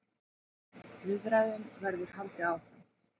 Viðræðum verður haldið áfram.